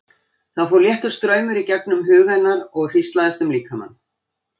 Það fór léttur straumur í gegnum huga hennar og hríslaðist um líkamann.